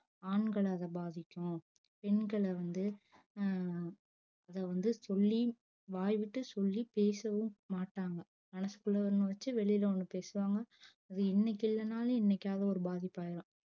ஆண்கள அது பாதிக்கும் பெண்கள வந்து அஹ் அத வந்து சொல்லி வாய் விட்டு சொல்லி பேசவும் மாட்டாங்க மனசுக்குள்ள ஒன்னு வச்சி வெளில ஒன்னு பேசுவாங்க அது இன்னக்கி இல்லனாலும் என்னைக்காவது ஒரு பாதிப்பாயிரும்